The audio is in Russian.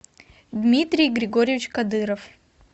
дмитрий григорьевич кадыров